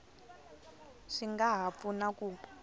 swi nga ha pfuna ku